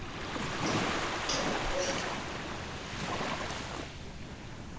tlokwe